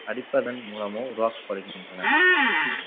அடிப்பதன் மூலமோ உருவாக்கப்படுகின்றன